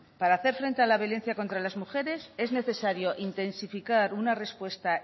para hacer frente a la violencia contra las mujeres es necesario intensificar una respuesta